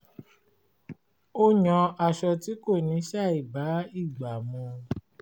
ó yan aṣọ tí kò ní ṣàìbá ìgbà mu